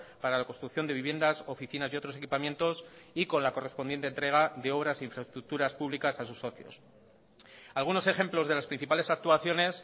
para la construcción de viviendas oficinas y otros equipamientos y con la correspondiente entrega de obras infraestructuras públicas a sus socios algunos ejemplos de las principales actuaciones